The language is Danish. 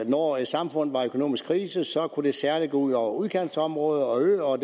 når et samfund er i økonomisk krise så kan det særlig gå ud over udkantsområder og øer og